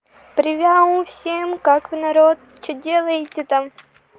привет всем как вы народ что делаете там